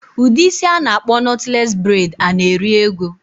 Udi isi ana akpo knotless braid ana eri ego?